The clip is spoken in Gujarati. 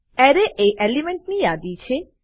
Array એ એલિમેન્ટ ની યાદી છે